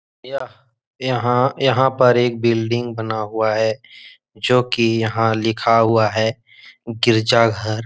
यह यहाँ-यहाँ पर एक बिल्डिंग बना हुआ है जो कि यहाँ लिखा हुआ है गिरजाघर।